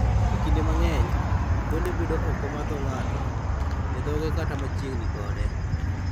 Kinde mang'eny, adhonde bedo oko mar dho ng'ato, e dhoge kata machiegni kode.